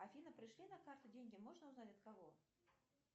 афина пришли на карту деньги можно узнать от кого